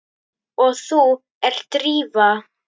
Og þú ert Drífa?